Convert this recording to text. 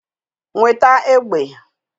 Nweta egbe!